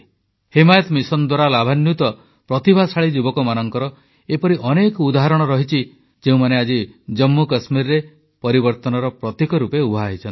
Himayat mission ଦ୍ୱାରା ଲାଭାନ୍ୱିତ ପ୍ରତିଭାଶାଳୀ ଯୁବକମାନଙ୍କର ଏପରି ଅନେକ ଉଦାହରଣ ରହିଛି ଯେଉଁମାନେ ଆଜି ଜମ୍ମୁକଶ୍ମୀରରେ ପରିବର୍ତ୍ତନର ପ୍ରତୀକ ରୂପେ ଉଭା ହୋଇଛନ୍ତି